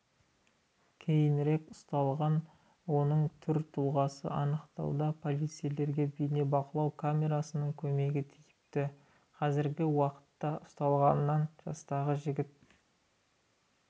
кейінірек ұсталған оның түр-тұлғасын анықтауда полицейлерге бейнебақылау камерасының көмегі тиіпті қазіргі уақытта ұсталған жастағы жігіт